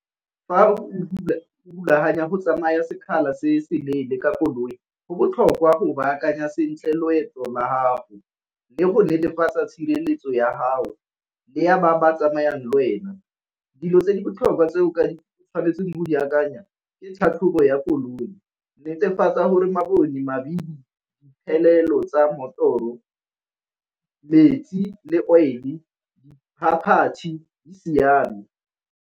Fa o rulaganya go tsamaya sekgala se se leele ka koloi go botlhokwa go baakanya sentle loeto la gago le go netefatsa tshireletso ya gago le ya ba ba tsamayang le wena. Dilo tse di botlhokwa tse o tshwanetse go di akanya ke tlhatlhobo ya koloi, netefatsa gore mabone, mabili, tsa mmotoro, metsi, le oil-e, diphaphathi di siame.